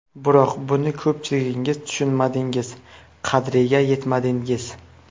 Biroq buni ko‘pchiligingiz tushunmadingiz, qadriga yetmadingiz.